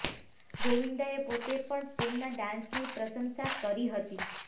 ગોવિંદાએ પોતે પણ તેમના ડાંસની પ્રશંસા કરી હતી